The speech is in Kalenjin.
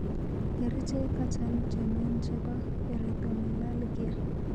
Kerichek achon chemen chepo erythromelalgia?